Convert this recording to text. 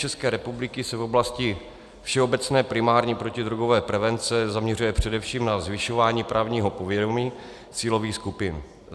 České republiky se v oblasti všeobecné primární protidrogové prevence zaměřuje především na zvyšování právního povědomí cílových skupin.